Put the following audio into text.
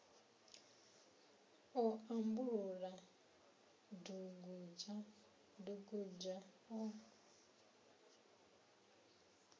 o ambulula dugudzha dugudzha o